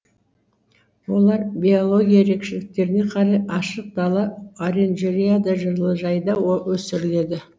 олар биология ерекшеліктеріне қарай ашық дала оранжереяда жылыжайда өсіріледі